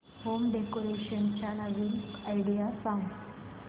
home decoration च्या नवीन idea सांग